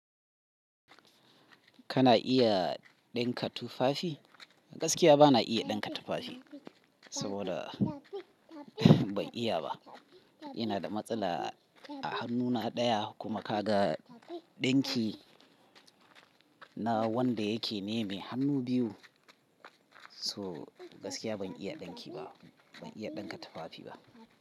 Kana iya ɗinka tufafi? Gaskiya bana iya ɗinka tufafi, saboda ban iya ba. Ina da matsala a hannuna ɗaya kuma ka ga ɗinki na wanda yake neme hannu biyu. So gaskiya ban iya ɗinki ba, ban iya ɗinka tufafi ba.